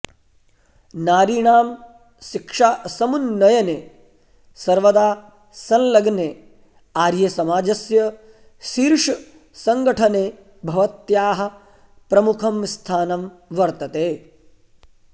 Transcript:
नारीणां शिक्षासमुन्नयने सर्वदा संलग्ने आर्य समाजस्य शीर्ष संगठने भवत्याः प्रमुखं स्थानं वत्र्तते